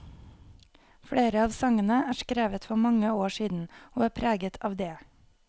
Flere av sangene er skrevet for mange år siden, og er preget av det.